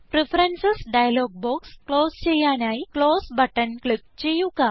preferences dialog box close ചെയ്യാനായി close button click ചെയ്യുക